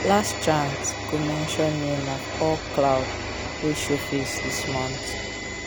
last chant go mention name of all cloud wey show face this month.